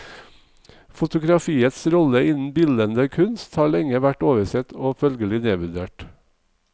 Fotografiets rolle innen bildende kunst har lenge vært oversett og følgelig nedvurdert.